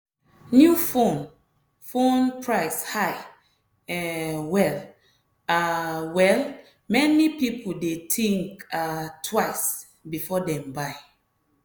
new phone phone price high um well um well many people dey think um twice before dem buy.